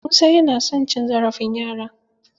Musa yana son cin zarafin yara.